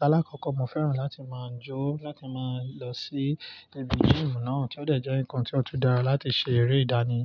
Lálákọ́kọ́ mo fẹ́ràn láti máa jó láti máa lọ sí ibi game náà, tí ó dẹ̀ jẹ́ ǹkan tí ó tún dára láti ṣe eré ìdánì.